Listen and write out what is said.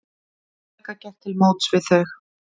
Helga gekk til móts við þau.